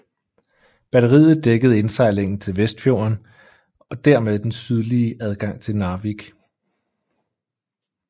Batteriet dækkede indsejlingen til Vestfjorden og dermed den sydlige adgang til Narvik